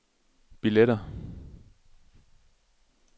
billetter